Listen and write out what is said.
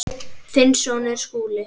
Þinn sonur, Skúli.